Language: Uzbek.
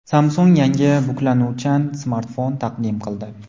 Samsung yangi buklanuvchan smartfon taqdim qildi.